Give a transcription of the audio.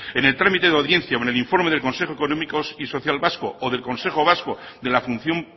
en el trámite de la audiencia o en el informe del consejo económico y social vasco o del consejo vasco de la función